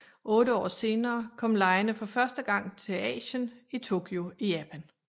Otte år senere kom legene for første gang til Asien i Tokyo i Japan